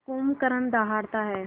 जब कुंभकर्ण दहाड़ता है